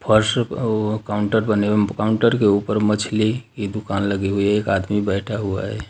फर्श औ- काउंटर बने काउंटर के ऊपर मछली की दुकान लगी हुई है एक आदमी बैठा हुआ है।